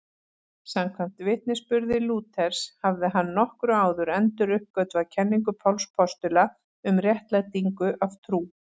Samkvæmt vitnisburði Lúthers hafði hann nokkru áður enduruppgötvað kenningu Páls postula um réttlætingu af trú.